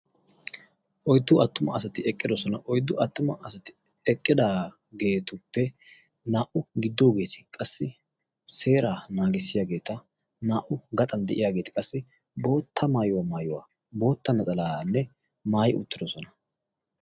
Oyddu attuma asati eqqidosona oyddu attuma asati eqqidaageetuppe naa"u giddoogeeti qassi seeraa naagissiyaageeta. naa"u gaxan de'iyaageeti qassi bootta maayuwaa maayuwaa bootta naxalaaanne maayi uttidosona.